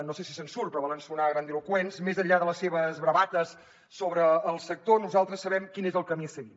no sé si se’n surt però volen sonar grandiloqüents més enllà de les seves bravates sobre el sector nosaltres sabem quin és el camí a seguir